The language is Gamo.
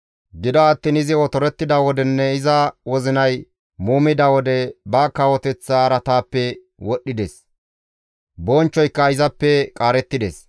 Gido attiin izi otorettida wodenne iza wozinay muumida wode, ba kawoteththa araataappe wodhdhides; bonchchoyka izappe qaarettides.